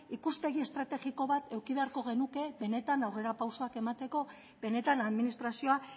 ikuspegi estrategiko eduki behar genuke benetan aurrera pausuak emateko benetan administrazioa